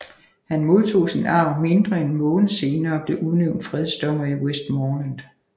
Han modtog sin arv mindre end en måned senere og blev udnævnt fredsdommer i Westmorland